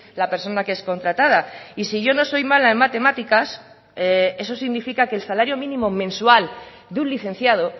la persona que es contratada y si yo no soy mala en matemáticas eso significa que el salario mínimo mensual de un licenciado